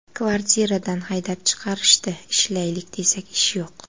Kvartiradan haydab chiqarishdi, ishlaylik desak, ish yo‘q.